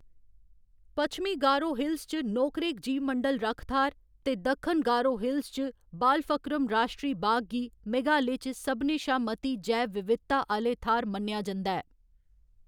पच्छमी गारो हिल्स च नोकरेक जीवमंडल रक्ख थाह्‌‌‌र ते दक्खन गारो हिल्स च बालफक्रम राश्ट्री बाग गी मेघालय च सभनें शा मती जैव विविधता आह्‌‌‌ले थाह्‌‌‌र मन्नेआ जंदा ऐ।